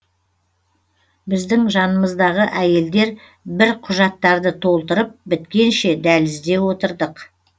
біздің жанымыздағы әйелдер бір құжаттарды толтырып біткенше дәлізде отырдық